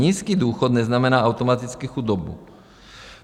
Nízký důchod neznamená automaticky chudobu.